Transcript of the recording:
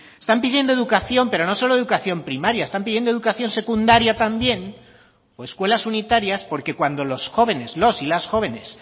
están pidiendo educación pero no solo educación primaria están pidiendo educación secundaria también o escuelas unitarias porque cuando los jóvenes los y las jóvenes